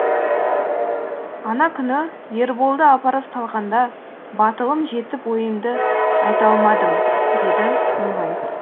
ана күні ерболды апарып салғанда батылым жетіп ойымды айта алмадым деді мұңайып